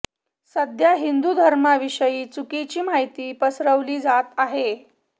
सध्या हिंदु धर्माविषयी चुकीची माहिती पसरवली जात आहे